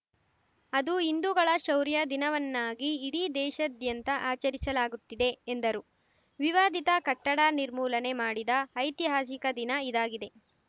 ಅದು ಹಿಂದುಗಳ ಶೌರ್ಯ ದಿನವನ್ನಾಗಿ ಇಡೀ ದೇಶಾದ್ಯಂತ ಆಚರಿಸಲಾಗುತ್ತಿದೆ ಎಂದರು ವಿವಾದಿತ ಕಟ್ಟಡ ನಿರ್ಮೂಲನೆ ಮಾಡಿದ ಐತಿಹಾಸಿಕ ದಿನ ಇದಾಗಿದೆ